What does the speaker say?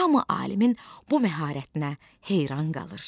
Hamı alimin bu məharətinə heyran qalır.